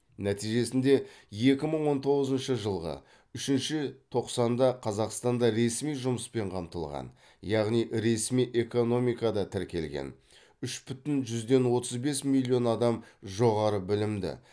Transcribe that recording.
нәтижесінде екі мың он тоғызыншы жылғы үшінші тоқсанда қазақстанда ресми жұмыспен қамтылған яғни ресми экономикада тіркелген үш бүтін жүзден отыз бес миллион адам жоғары білімді